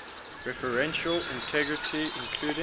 referential integrity including